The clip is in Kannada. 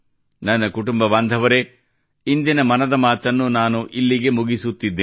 ನನ್ನ ಕುಟುಂಬದ ಬಾಂಧವರೇ ಇಂದಿನ ಮನದ ಮಾತನ್ನು ನಾನು ಇಲ್ಲಿಗೆ ಮುಗಿಸುತ್ತಿದ್ದೇನೆ